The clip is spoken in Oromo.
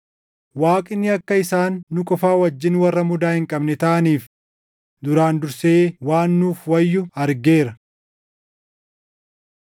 Waaqni akka isaan nu qofa wajjin warra mudaa hin qabne taʼaniif duraan dursee waan nuuf wayyu argeera.